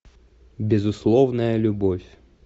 безусловная любовь